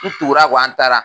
U tugur'a kɔ an taara